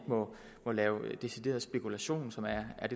må lave decideret spekulation som er